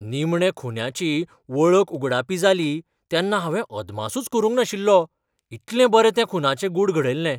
निमणें खून्याची वळख उगडापी जाली तेन्ना हांवे अदमासूच करूंक नाशिल्लो, इतलें बरें तें खूनाचें गूढ घडयल्लें.